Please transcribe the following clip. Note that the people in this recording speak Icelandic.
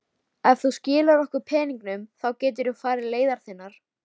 Ef þú skilar okkur peningunum þá geturðu farið leiðar þinnar.